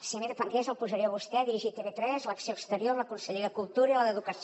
si de mi depengués el posaria a vostè a dirigir tv3 l’acció exterior la conselleria de cultura i la d’educació